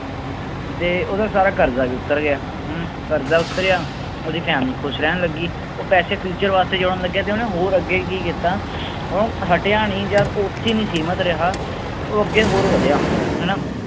ਤੇ ਉਹਦਾ ਸਾਰਾ ਕਰਜ਼ਾ ਵੀ ਉੱਤਰ ਗਿਆ ਹਮ ਕਰਜ਼ਾ ਉੱਤਰਿਆ ਉਹਦੀ family ਖ਼ੁਸ਼ ਰਹਿਣ ਲੱਗੀ, ਪੈਸੇ future ਵਾਸਤੇ ਜੋੜਨ ਲੱਗਿਆ ਤੇ ਉਹਨੇ ਹੋਰ ਅੱਗੇ ਕੀ ਕੀਤਾ ਉਹ ਹਟਿਆ ਨੀ ਜਾਂ ਉੱਥੇ ਨੀ ਸੀਮਿਤ ਰਿਹਾ ਉਹ ਅੱਗੇ ਹੋਰ ਵਧਿਆ ਹਨਾ।